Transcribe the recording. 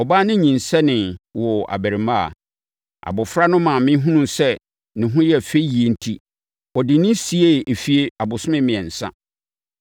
Ɔbaa no nyinsɛnee, woo abarimaa. Abɔfra no maame hunuu sɛ ne ho yɛ fɛ yie enti ɔde no siee efie abosome mmiɛnsa.